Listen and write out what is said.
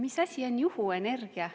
Mis asi on juhuenergia?